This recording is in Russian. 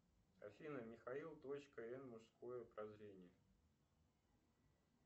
афина михаил точка н мужское прозрение